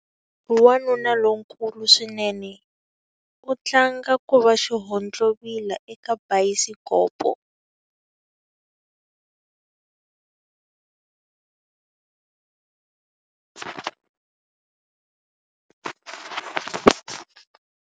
Wanuna lonkulu swinene u tlanga ku va xihontlovila eka bayisikopo.